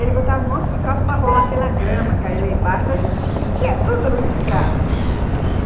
Eles botavam um monte de calça para rolar pela grama, cair lá embaixo, então a gente assistia tudo ali de casa.